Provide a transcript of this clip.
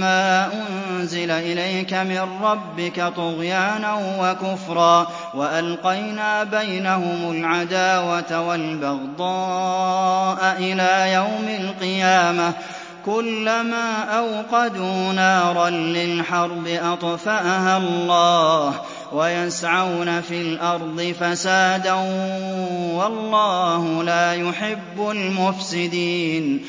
مَّا أُنزِلَ إِلَيْكَ مِن رَّبِّكَ طُغْيَانًا وَكُفْرًا ۚ وَأَلْقَيْنَا بَيْنَهُمُ الْعَدَاوَةَ وَالْبَغْضَاءَ إِلَىٰ يَوْمِ الْقِيَامَةِ ۚ كُلَّمَا أَوْقَدُوا نَارًا لِّلْحَرْبِ أَطْفَأَهَا اللَّهُ ۚ وَيَسْعَوْنَ فِي الْأَرْضِ فَسَادًا ۚ وَاللَّهُ لَا يُحِبُّ الْمُفْسِدِينَ